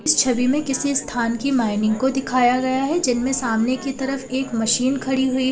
इस छवि में किसी स्थान की माइनिंग को दिखाया गया है जिनमें सामने की तरफ एक मशीन खड़ी हुई है।